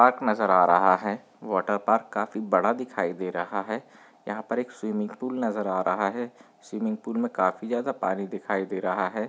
Park नजर आ रहा है वॉटर पार्क काफी बड़ा दिखाई दे रहा है यहाँ पर एक स्विमिंग पूल नजर आ रहा है स्विमिंग पूल मैं काफी ज्यादा पानी दिखाई दे रहे है।